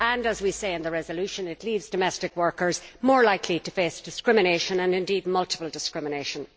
As we say in the resolution, it leaves domestic workers more likely to face discrimination and, indeed, multiple forms of discrimination.